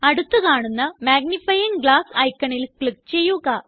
അടുത്ത് കാണുന്ന magnifying glass ഐക്കണിൽ ക്ലിക്ക് ചെയ്യുക